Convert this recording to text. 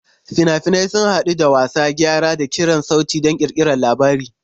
Fina-finai sun haɗu da wasa, gyara, da ƙirar sauti don ƙirƙirar labari.